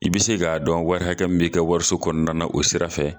I bi se k'a dɔn wari hakɛ min b'i ka wariso kɔnɔna na o sira fɛ